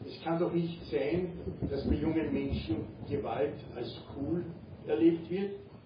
Es kann doch nicht sein, dass bei jungen Menschen Gewalt als cool erlebt wird.